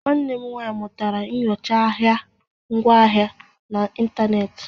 Nwanne m nwanyị mụtara nyocha ahịa ngwaahịa na ịntanetị